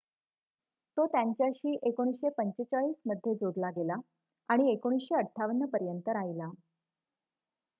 तो त्यांच्याशी 1945 मध्ये जोडला गेला आणि 1958 पर्यंत राहिला